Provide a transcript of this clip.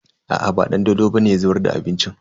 Aa ba Dandolo bane ya zubar da abincin.